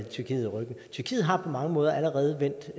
tyrkiet ryggen tyrkiet har på mange måder allerede vendt